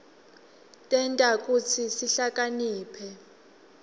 tenta kutsi sihlakaniphe